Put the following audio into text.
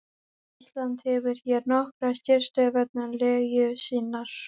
Ísland hefur hér nokkra sérstöðu vegna legu sinnar.